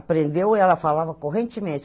Aprendeu e ela falava correntemente.